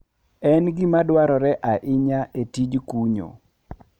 En gima dwarore ahinya e tij kunyo.